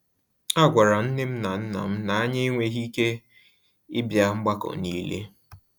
A gwara m nnem na nnam na-anya enweghị ike ịbịa mgbakọ n'ile